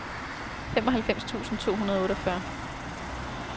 femoghalvfems tusind to hundrede og otteogfyrre